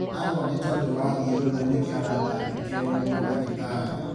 Agũa nĩtondũ wa thiũrũra nĩkĩo aratangĩkĩrwo nĩ madagĩtarĩ